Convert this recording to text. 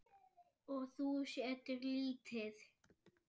Og þú settir lítið?